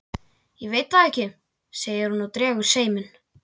Ég veit það ekki, segir hún og dregur seiminn.